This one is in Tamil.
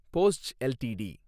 Bosch LTD